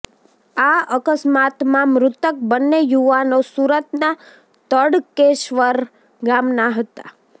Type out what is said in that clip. આ અકસ્માતમાં મૃતક બંને યુવાનો સુરતના તડકેશ્વર ગામના હતા